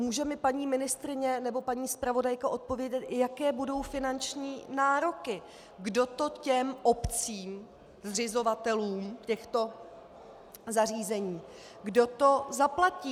Může mi paní ministryně nebo paní zpravodajka odpovědět, jaké budou finanční nároky, kdo to těm obcím, zřizovatelům těchto zařízení, kdo to zaplatí?